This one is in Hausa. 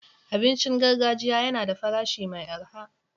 Abincin gargajiya yana da farashi mai arha.